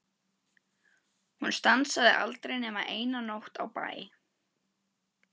Hún stansaði aldrei nema eina nótt á bæ.